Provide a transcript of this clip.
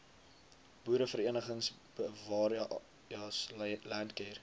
boereverenigings bewareas landcare